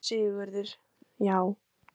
SÉRA SIGURÐUR: Já!